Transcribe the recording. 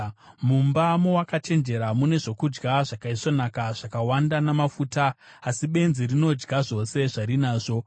Mumba mowakachenjera mune zvokudya zvakaisvonaka zvakawanda namafuta, asi benzi rinodya zvose zvarinazvo.